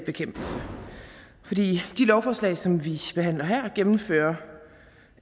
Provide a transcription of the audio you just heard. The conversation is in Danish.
bekæmpelse for de lovforslag som vi behandler her gennemfører